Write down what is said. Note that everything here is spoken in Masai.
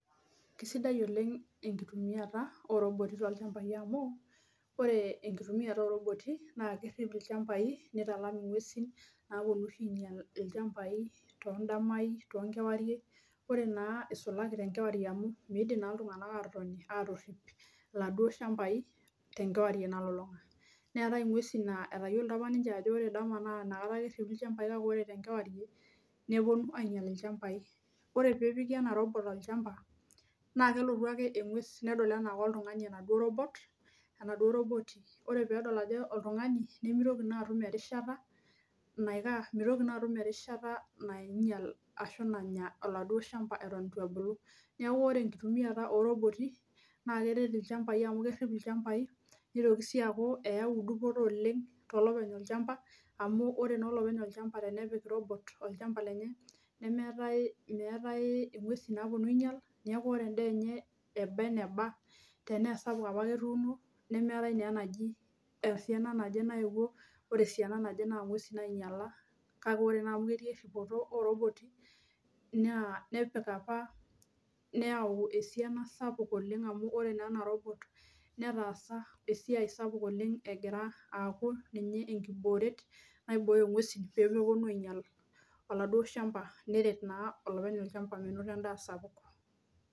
Kisidai oleng etumiata ooroboti tolchambai amu ore ekitumiata ooroboti naa kerip ilchambai nitalam inguesin naponu oshi ainyial ilchambai todamai tookarie ore naa isulaki tenkewarie amu midim naa iltunganak atotoni atorip iladuo shambai tenkewarie nalulunga neetae inguesi natayiolito apa ninche ajo ore ndama ake eripi ilchambai kake ore tenkewarie neponu ainyial ilchambai ore pee epiki ena robot olchamba naa kelotu ake engues nedol enaa koltungani enaduo roboti ore pee edol ajo oltungani nemitoki naaduo atum erishita nainyial ashu nanya oladuo shamba eton eitu ebolu neaku ore ekitumieta oo roboti naa keret ilchambai amu kerip ilchambai nitoki sii aaku eyau dupoto oleng to lopeny olchamba amu ore naa olopeny olchamba tenepik robot olchamba lenye meetae inguesin naponu ainyial neaku ore endaa enye eba eneba tenaa esapuk abake etuuno nemeetae taa enaji esiana naje nayewuo ore esiana naje naa inguesin nainyiala kake ore naa amu eeuo esiai ooroboti naa nepik apa neayau esiana sapuk oleng amu ore naa ena robot netaasa esiai sapuk oleng egira aaku ninye ekibooret naibooyo inguesi pee neponu ainyial oladuo shamba neret naa olopeny olchamba menoto endaa sapuk .